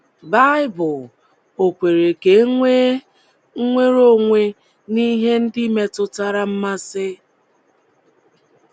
Baịbụl ọ̀ kwere ka é nweé nnwere onwe n'ihe ndị metụtara mmasị?